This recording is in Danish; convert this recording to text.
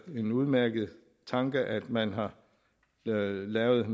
en udmærket tanke at man har lavet lavet